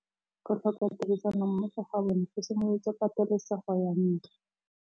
Go tlhoka tirsanommogo ga bone go simolotse patêlêsêgô ya ntwa.